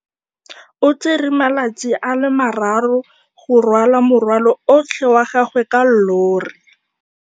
O tsere malatsi a le marraro go rwala morwalo otlhe wa gagwe ka llori.